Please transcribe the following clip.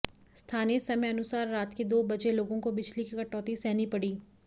स्थानीय समय अनुसार रात के दो बजे लोगों को बिजली की कटौती सहनी पड़ी